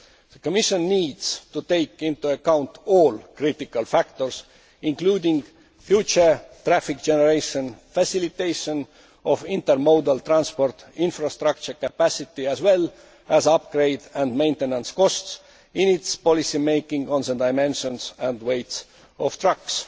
The Commission needs to take into account all critical factors, including future traffic generation, facilitation of intermodal transport infrastructure capacity and upgrading and maintenance costs in its policy making on the dimensions and weight of trucks.